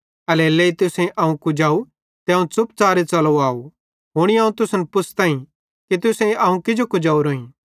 एल्हेरेलेइ तुसेईं अवं कुजाव त अवं च़ुपच़ारे च़लो आव हुनी अवं तुसन पुछ़ताई कि तुसेईं अवं किजो कुजेवरोईं